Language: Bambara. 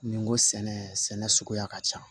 Ni n ko sɛnɛ sɛnɛ suguya ka ca